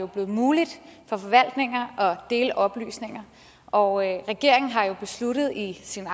blevet muligt for forvaltninger at dele oplysninger og regeringen har jo besluttet i sin